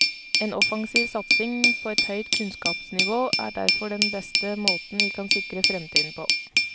En offensiv satsing på et høyt kunnskapsnivå er derfor den beste måten vi kan sikre fremtiden på.